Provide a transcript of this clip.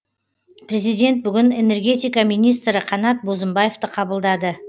президент бүгін энергетика министрі қанат бозымбаевты қабылдады